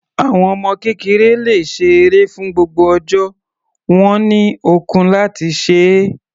Àwọn ọmọ kékeré le ṣe eré fún gbogbo ọjọ́, wọ́n ní ọkun láti se é.